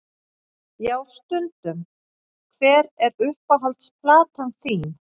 Já stundum Hver er uppáhalds platan þín?